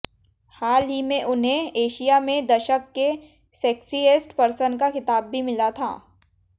हाल ही में उन्हें एशिया में दशक के सेक्सिएस्ट पर्सन का खिताब भी मिला था